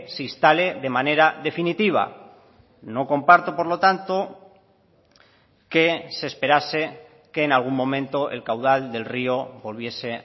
se instale de manera definitiva no comparto por lo tanto que se esperase que en algún momento el caudal del río volviese